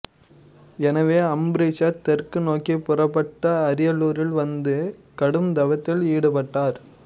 எனவே அம்பரீஷர் தெற்கு நோக்கிப் புறப்பட்டு அரியலூரில் வந்து கடும்தவத்தில் ஈடுபட்டார்